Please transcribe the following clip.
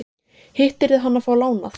Hitt yrði hann að fá lánað.